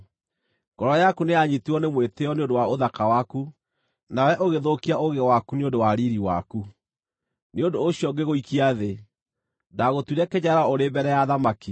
Ngoro yaku nĩyanyiitirwo nĩ mwĩtĩĩo nĩ ũndũ wa ũthaka waku, nawe ũgĩthũkia ũũgĩ waku nĩ ũndũ wa riiri waku. Nĩ ũndũ ũcio ngĩgũikia thĩ; ndaagũtuire kĩnyararo ũrĩ mbere ya athamaki.